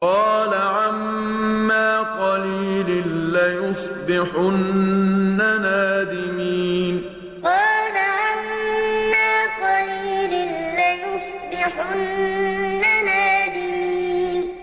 قَالَ عَمَّا قَلِيلٍ لَّيُصْبِحُنَّ نَادِمِينَ قَالَ عَمَّا قَلِيلٍ لَّيُصْبِحُنَّ نَادِمِينَ